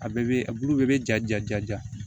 A bɛɛ bɛ a bulu bɛɛ bɛ ja ja ja ja